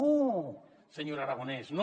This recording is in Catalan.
no señor aragonès no